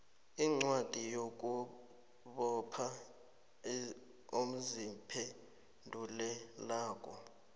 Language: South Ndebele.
incwadi yokubopha oziphendulelako